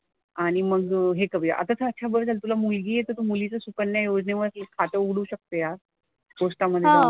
आणि मग हे करूया. आता तर अच्छा बरं झालं तुला मुलगी आहे तर तू मुलीचं सुकन्या योजनेवरती खातं उघडू शकते यार पोस्टामध्ये जाऊन.